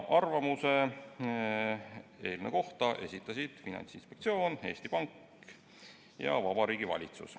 Arvamuse eelnõu kohta esitasid Finantsinspektsioon, Eesti Pank ja Vabariigi Valitsus.